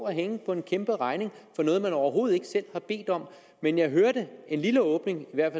hænge på en kæmperegning for noget man overhovedet ikke selv har bedt om men jeg hørte en lille åbning i hvert